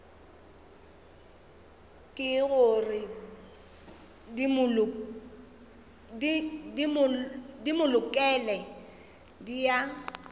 ke gore dimolekule di a